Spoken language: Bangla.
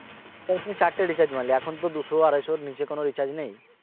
ও তুমি চারটে recharge মারলে এখন তো দুশো আড়াইশোর নিচে কোন recharge নেই